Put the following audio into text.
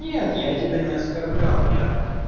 нет я тебя не оскорблял я